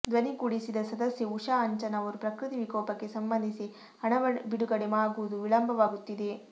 ಧ್ವನಿಗೂಡಿಸಿದ ಸದಸ್ಯೆ ಉಷಾ ಅಂಚನ್ ಅವರು ಪ್ರಕೃತಿ ವಿಕೋಪಕ್ಕೆ ಸಂಬಂಧಿಸಿ ಹಣ ಬಿಡುಗಡೆ ಆಗುವುದು ವಿಳಂಬವಾಗುತ್ತಿದೆ